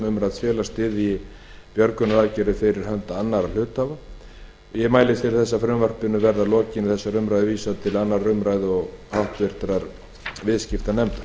umrædds félags styðji björgunaraðgerðir fyrir hönd annarra hluthafa ég mælist til þess að frumvarpinu verði að lokinni þessari umræðu vísað til annarrar umræðu og háttvirtur viðskiptanefndar